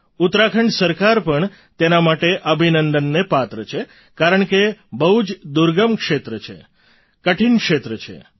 ઉત્તરાખંડ સરકાર પણ તેના માટે અભિનંદનને પાત્ર છે કારણકે બહુ જ દુર્ગમ ક્ષેત્ર છે કઠિન ક્ષેત્ર છે